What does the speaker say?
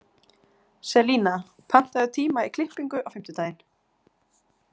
Selina, pantaðu tíma í klippingu á fimmtudaginn.